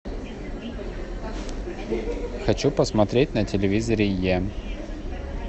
хочу посмотреть на телевизоре е